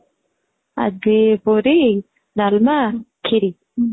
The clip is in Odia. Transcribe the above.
ଆଜି ପୁରୀ, ଡାଲମା, ଖିରି